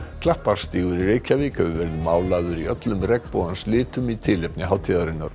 Klapparstígur í Reykjavík hefur verið málaður í öllum regnbogans litum í tilefni hátíðarinnar